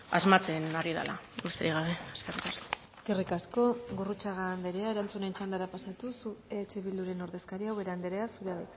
asmatzen ari dela besterik gabe eskerrik asko eskerrik asko gurrutxaga anderea erantzunen txandara pasatuz eh bilduren ordezkaria ubera anderea zurea